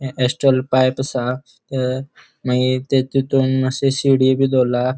ये steel pipe असा ते मगिर ते तितुन मात्शे शीडी बी दोरला.